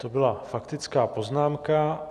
To byla faktická poznámka.